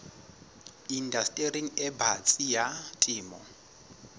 indastering e batsi ya temo